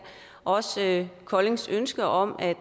og også koldings ønske om at